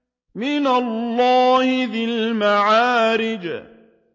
مِّنَ اللَّهِ ذِي الْمَعَارِجِ